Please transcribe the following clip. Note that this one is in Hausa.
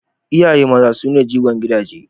Iyaye maza su ne jigon gidaje.